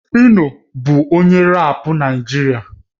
Phyno bụ onye rap Naịjirịa